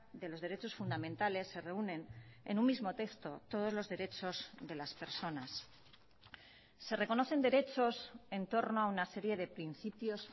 de los derechos fundamentales se reúnen en un mismo texto todos los derechos de las personas se reconocen derechos entorno a una serie de principios